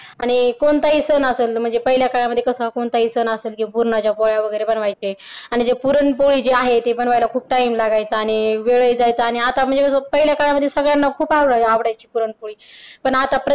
आणि कोणताही सण असलं म्हणजे पहिल्या काळामध्ये कस कोणताही सण असलं किंवा पुरणाच्या पोळ्या वगैरे बनवायचे आणि मग जे पुरणपोळी वगैरे जी आहे ते बनवायला खूप time लागायचा आणि वेळही जायचा आणि आता म्हणजे कस पहिल्या काळामध्ये सगळ्यांना खूप आवडायची पुरणपोळी पण आता